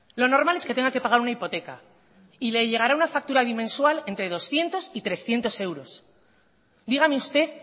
lo normal es que tenga que pagar una hipoteca y le llegará una factura bimensual entre doscientos y trescientos euros dígame usted